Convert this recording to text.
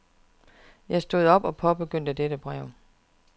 Jeg stod op og påbegyndte dette brev.